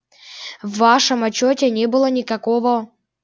в вашем отчёте не было никакого